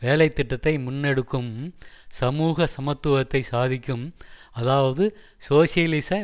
வேலை திட்டத்தை முன்னெடுக்கும் சமூக சமத்துவத்தை சாதிக்கும் அதாவது சோசியலிச